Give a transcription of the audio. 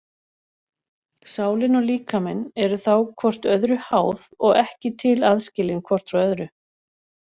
Sálin og líkaminn eru þá hvort öðru háð og ekki til aðskilin hvort frá öðru.